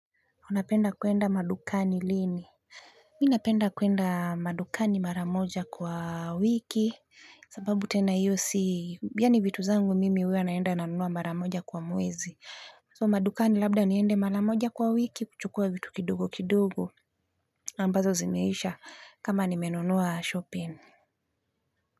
Unapenda kuenda madukani lini? Mimi napenda kwenda madukani mara moja kwa wiki sababu tena hiyo si yaani vitu zangu mimi huwa naenda nanunua mara moja kwa mwezi so madukani labda niende mara moja kwa wiki kuchukua vitu kidogo kidogo ambazo zimeisha kama nimenunua shopping.